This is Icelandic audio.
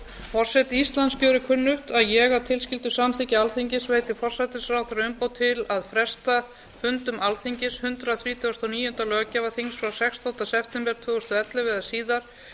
forseti íslands gjörir kunnugt að ég að tilskildu samþykki alþingis veiti forsætisráðherra umboð til að fresta fundum alþingis hundrað þrítugasta og níunda löggjafarþings frá sextánda september tvö þúsund og ellefu eða síðar